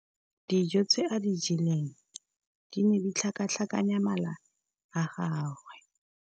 Dijô tse a di jeleng di ne di tlhakatlhakanya mala a gagwe.